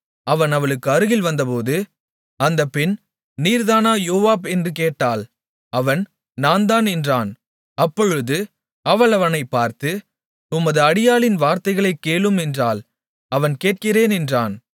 அவன் அவளுக்கு அருகில் வந்தபோது அந்தப் பெண் நீர்தானா யோவாப் என்று கேட்டாள் அவன் நான்தான் என்றான் அப்பொழுது அவள் அவனைப் பார்த்து உமது அடியாளின் வார்த்தைகளைக் கேளும் என்றாள் அவன் கேட்கிறேன் என்றான்